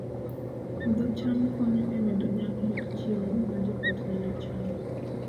Puodho cham konyo e medo nyak mar chiemo ma joot nyalo chamo